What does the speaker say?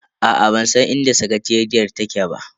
Aa bansan inda sakateriyar take ba.